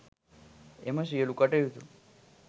එම සියලු කටයුතු